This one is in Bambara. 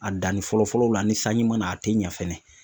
A danni fɔlɔ fɔlɔ la ni sanji ma na a tɛ ɲɛ fɛnɛ